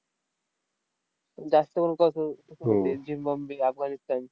जास्त करून कसं, झिम्बाबे, अफगाणिस्तान